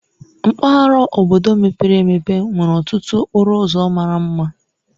Mpaghara obodo mepere emepe nwere ọtụtụ okporo ụzọ mara mma.